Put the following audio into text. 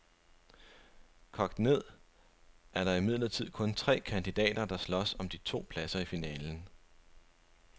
Kogt ned er der imidlertid kun tre kandidater, der slås om de to pladser i finalen.